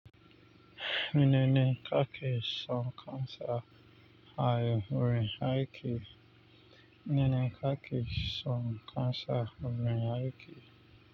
Nene kake son cancer ha yuri haike nene kaki son cancer yuri haike.